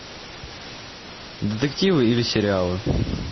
детективы или сериалы